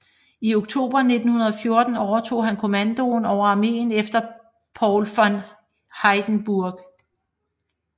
I oktober 1914 overtog han kommandoen over armeen efter Paul von Hindenburg